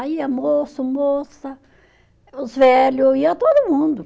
Aí ia moço, moça, os velho, ia todo mundo.